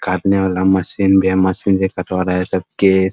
काटने वाला मशीन भी है मशीन से कटवा रहा है सब केश।